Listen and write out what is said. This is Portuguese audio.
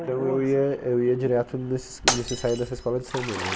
Então eu ia eu ia direto nesses nesse ensaio dessa escola de samba, né?